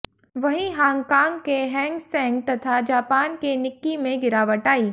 वहीं हांगकांग के हैंगसेंग तथा जापान के निक्की में गिरावट आई